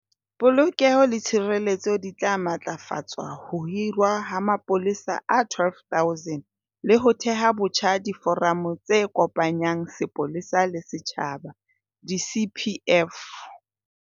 Polokeho le tshireletso di tla matlafatswa ho hirwa ha mapolesa a 12 000 le ho theha botjha diforamo tse kopanyang sepolesa le setjhaba, di-CPF.